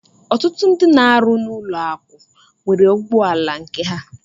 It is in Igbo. Ọtụtụ ndị n'arụ n'ụlọ akụ nwere ụgbọ ala nke ha.